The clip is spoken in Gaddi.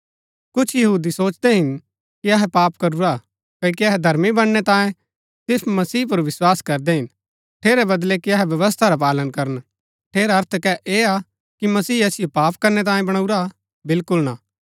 कुछ यहूदी सोचदै हिन कि अहै पाप करूरा हा क्ओकि अहै धर्मी बनणै तांये सिर्फ मसीह पुर विस्वास करदै हिन ठेरै बदलै कि अहै व्यवस्था रा पालन करन ठेरा अर्थ कै ऐह हा कि मसीह असिओ पाप करनै तांये बणाऊरा हा बिलकुल ना